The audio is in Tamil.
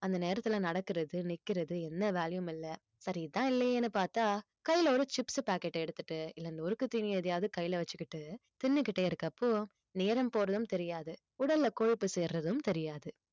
அந்த நேரத்துல நடக்குறது நிற்கிறது என்ன வேலையும் இல்லை சரி இதுதான் இல்லையேன்னு பார்த்தால் கையில ஒரு chips packet அ எடுத்துட்டு இல்லை நொறுக்குத் தீனியை எதையாவது கையில வச்சிக்கிட்டு தின்னுக்கிட்டே இருக்கப்போ நேரம் போறதும் தெரியாது உடல்ல கொழுப்பு சேர்றதும் தெரியாது